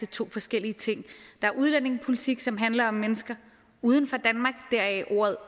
to forskellige ting der er udlændingepolitik som handler om mennesker uden for danmark deraf ordet